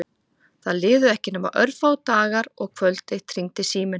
Það liðu ekki nema örfáir dagar og kvöld eitt hringdi síminn.